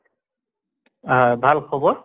আহ ভাল খবৰ?